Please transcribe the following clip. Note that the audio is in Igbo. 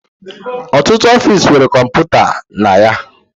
Ọtụtụ ọfiisi nwere kọmputa na ya